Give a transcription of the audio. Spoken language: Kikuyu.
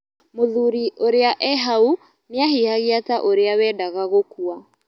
Mũthuri ũrĩa e hau nĩahihagia ta ũrĩa wendaga gũkua.